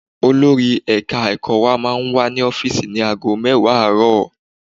Olori ẹ̀ka ẹ̀kọ́ wa máa wà ní ọ́fíìsì ní ago mẹ́wàá àárọ̀